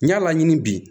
N y'a laɲini bi